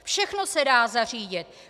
Všechno se dá zařídit.